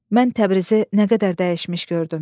Mən Təbrizi nə qədər dəyişmiş gördüm.